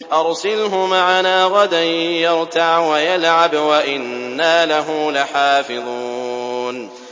أَرْسِلْهُ مَعَنَا غَدًا يَرْتَعْ وَيَلْعَبْ وَإِنَّا لَهُ لَحَافِظُونَ